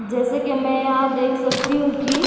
जैसे कि मैं यहां देख सकती हूं कि --